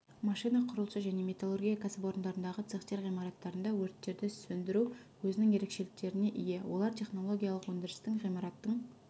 машина құрылысы және металлургия кәсіпорындарындағы цехтер ғимараттарында өрттерді сөндіру өзінің ерекшеліктеріне ие олар технологиялық өндірістің ғимараттың